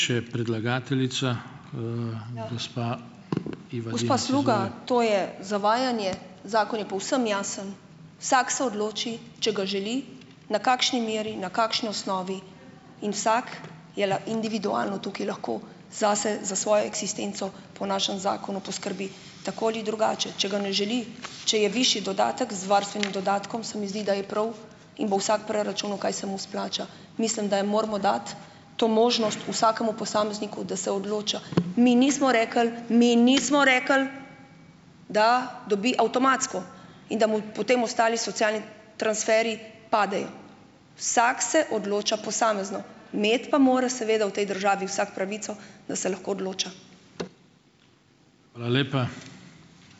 Gospa Sluga, to je zavajanje. Zakon je povsem jasen, vsak se odloči, če ga želi, na kakšni meri, na kakšni osnovi in vsako je le individualno tukaj lahko zase, za svojo eksistenco po našem zakonu poskrbi tako ali drugače. Če ga ne želi, če je višji dodatek z varstvenim dodatkom, se mi zdi, da je prav in bo vsak preračunal, kaj se mu splača. Mislim, da je moramo dati to možnost vsakemu posamezniku, da se odloča. Mi nismo rekli, mi nismo rekli, da dobi avtomatsko in da mu, potem ostali socialni transferji padejo. Vsak se odloča posamezno, imeti pa mora seveda v tej državi vsak pravico, da se lahko odloča.